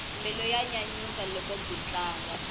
mbilu ya nyanyuka loko byi tlanga